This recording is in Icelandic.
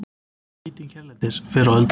Nýting hérlendis fyrr á öldum